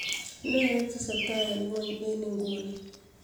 nee netesetai en ngweny' en inguni